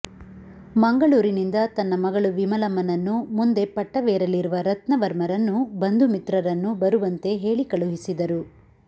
ಮಂಗಳೂರಿನಿಂದ ತನ್ನ ಮಗಳು ವಿಮಲಮ್ಮನನ್ನೂ ಮುಂದೆ ಪಟ್ಟವೇರಲಿರುವ ರತ್ನವರ್ಮರನ್ನೂ ಬಂಧುಮಿತ್ರರನ್ನೂ ಬರುವಂತೆ ಹೇಳಿ ಕಳುಹಿಸಿದರು